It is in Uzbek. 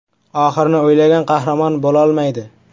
“Oxirini o‘ylagan qahramon bo‘lolmaydi”.